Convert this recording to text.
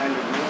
Bu.